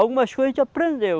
Algumas coisas a gente aprendeu.